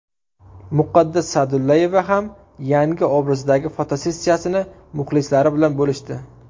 Muqaddas Sa’dullayeva ham yangi obrazdagi fotosessiyasini muxlislari bilan bo‘lishdi.